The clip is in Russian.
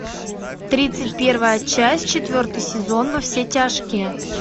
тридцать первая часть четвертый сезон во все тяжкие